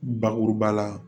Bakuruba la